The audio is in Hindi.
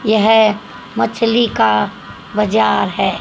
यह मछली का बाजार है।